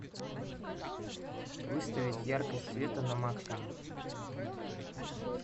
выставить яркость света на максимум